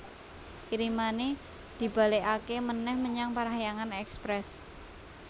Kirimane dibalekake meneh menyang Parahyangan Express